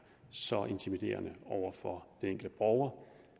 så intimiderende over for den enkelte borger